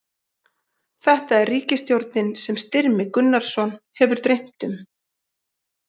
Þetta er ríkisstjórnin sem Styrmi Gunnarsson hefur dreymt um.